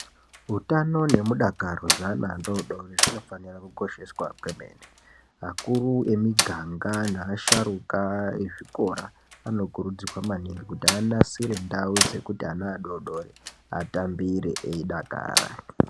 Utano nemudakaro zveana adoodori zvinofanira kukosheswa kwemene. Akuru emiganga neasharukwla ezvikora anokurudzirwa maningi kuti anasire ndau dzekuti ana adoodori atambire, eidakara.